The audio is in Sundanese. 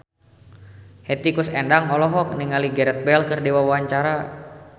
Hetty Koes Endang olohok ningali Gareth Bale keur diwawancara